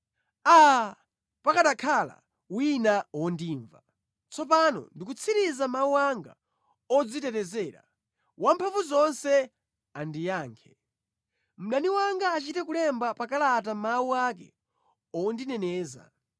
“Aa, pakanakhala wina wondimva! Tsopano ndikutsiriza mawu anga odzitetezera. Wamphamvuzonse andiyankhe; mdani wanga achite kulemba pa kalata mawu ake ondineneza.